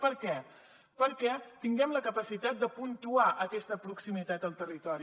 per què perquè tinguem la capacitat de puntuar aquesta proximitat al territori